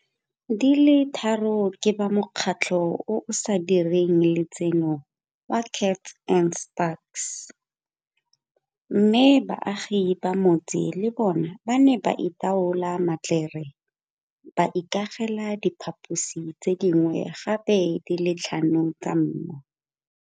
Di le tharo ke ba mokgatlo o o sa direng le tseno wa Kats and Spaks, mme baagi ba motse le bona ba ne ba itlola matlere mme ba ikagela diphaposi tse dingwe gape di le tlhano tsa mmu.